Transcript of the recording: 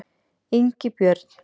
Ingibjörn